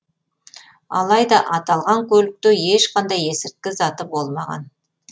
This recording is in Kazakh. алайда аталған көлікте ешқандай есірткі заты болмаған